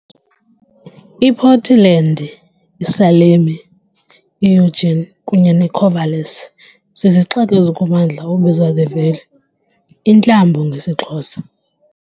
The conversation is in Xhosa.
IPortlandi, iSalemi, i-Yujini kunye neKorvalisi zizixeko ezikummandla obizwa, The Valley, intlambo ngesiXhosa.